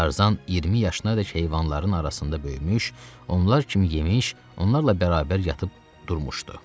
Tarzan 20 yaşına dək heyvanların arasında böyümüş, onlar kimi yemiş, onlarla bərabər yatıb durmuşdu.